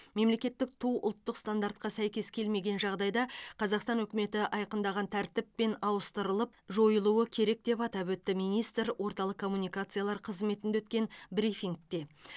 мемлекеттік ту ұлттық стандартқа сәйкес келмеген жағдайда қазақстан үкіметі айқындаған тәртіппен ауыстырылып жойылуы керек деп атап өтті министр орталық коммуникациялар қызметінде өткен брифингте